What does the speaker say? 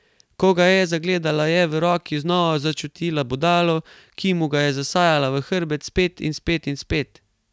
Ko ga je zagledala, je v roki znova začutila bodalo, ki mu ga je zasajala v hrbet, spet in spet in spet.